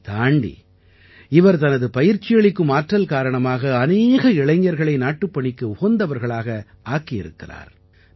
இதனைத் தாண்டி இவர் தனது பயிற்சியளிக்கும் ஆற்றல் காரணமாக அநேக இளைஞர்களை நாட்டுப்பணிக்கு உகந்தவர்களாக ஆக்கி இருக்கிறார்